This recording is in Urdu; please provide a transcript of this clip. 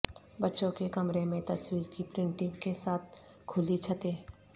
بچوں کے کمرے میں تصویر کی پرنٹنگ کے ساتھ کھلی چھتیں